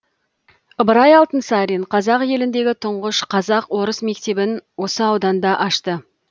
ыбырай алтынсарин қазақ еліндегі тұңғыш қазақ орыс мектебін осы ауданда ашты